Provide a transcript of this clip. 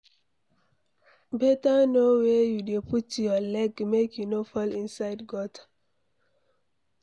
Beta know where you dey put your leg make you no fall inside gutter